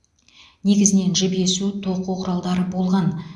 негізінен жіп есу тоқу құралдары болған